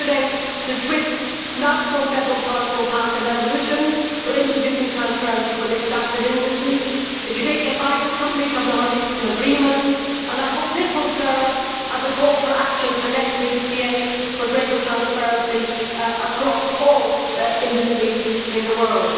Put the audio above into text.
Yesterday the Swiss National Federal Council passed a resolution on introducing transparency for the extractive industries, the Canadian mining companies have now reached an agreement, and I hope that this will serve as a call for action for next week's G8 for greater transparency across all industries in the world.